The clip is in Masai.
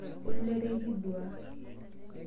Olere, ekiduaa.